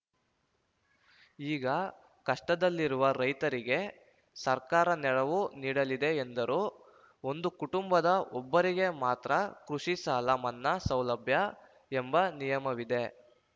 ಈಗ ಕಷ್ಟದಲ್ಲಿರುವ ರೈತರಿಗೆ ಸರ್ಕಾರ ನೆರವು ನೀಡಲಿದೆ ಎಂದರು ಒಂದು ಕುಟುಂಬದ ಒಬ್ಬರಿಗೆ ಮಾತ್ರ ಕೃಷಿ ಸಾಲ ಮನ್ನಾ ಸೌಲಭ್ಯ ಎಂಬ ನಿಯಮವಿದೆ